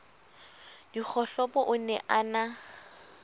dikgohlopo o ne a na